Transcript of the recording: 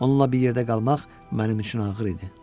Onunla bir yerdə qalmaq mənim üçün ağır idi.